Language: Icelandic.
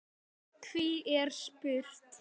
Hví er spurt?